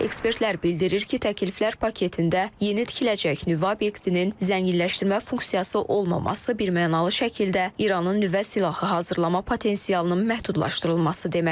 Ekspertlər bildirir ki, təkliflər paketində yeni tikiləcək nüvə obyektinin zənginləşdirmə funksiyası olmaması birmənalı şəkildə İranın nüvə silahı hazırlama potensialının məhdudlaşdırılması deməkdir.